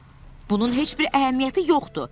Bunun heç bir əhəmiyyəti yoxdur.